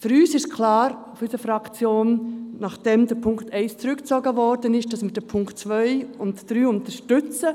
Für unsere Fraktion ist klar, dass wir, nachdem der Punkt 1 zurückgezogen wurde, die Punkte 2 und 3 unterstützen.